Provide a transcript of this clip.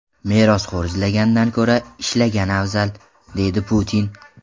Merosxo‘r izlagandan ko‘ra ishlagan afzal”, – deydi Putin.